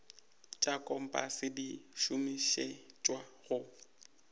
tša kompase di šomišetšwa go